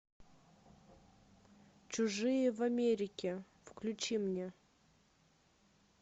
чужие в америке включи мне